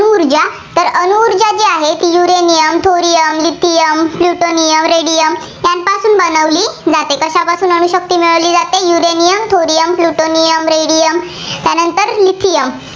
uranium, thorium, lithium, plutonium, radium यांच्यापासून बनवली जाते. कशापासून अणुशक्ती मिळवली जाते uranium, thorium, plutonium, radium यानंतर lithium